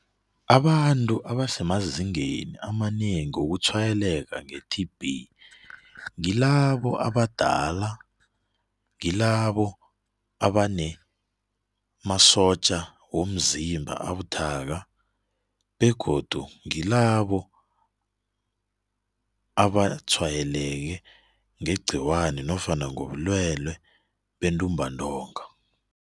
Abantu abasemazingeni amanengi wokutshwayeleka nge-T_B ngilabo abadala, ngilabo abanemasotja womzimba abuthaka begodu ngilabo abatshwayeleke ngegciwani nofana ngobulwelwe bentumbantonga.